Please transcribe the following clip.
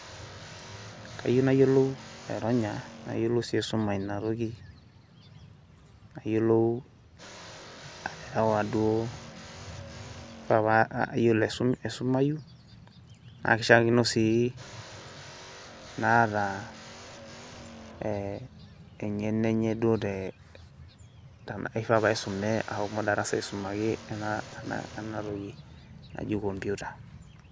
Kayieu nayiolou aironya, nayiolou si aisuma inatoki. Nayiolou aterewa duo, kifaa pa ayiolo aisumayu, na kishaakino si naata eh eng'eno enye duo te kifaa paisume pashomo darasa aisumaki enatoki naji computer.